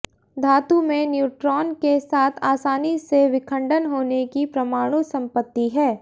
धातु में न्यूट्रॉन के साथ आसानी से विखंडन होने की परमाणु संपत्ति है